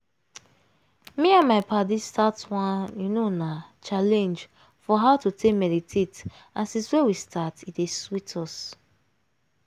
me and my paddies start one you know na challenge for how to take meditate and since wey we start e dey sweet us